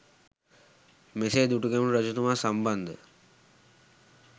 මෙසේ දුටුගැමුණු රජතුමා සම්බන්ධ